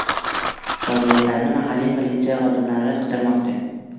Jonzotlarni mahalliy politsiya xodimlari qidirmoqda.